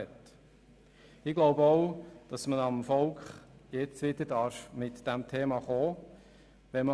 Ich glaube auch, dass man jetzt beim Volk wieder mit diesem Thema kommen darf.